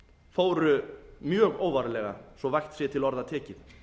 fóru mjög óvarlega svo vægt sé til orða tekið